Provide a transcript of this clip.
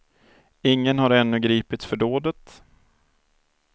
Ingen har ännu gripits för dådet.